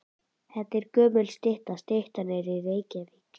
Þetta er gömul stytta. Styttan er í Reykjavík.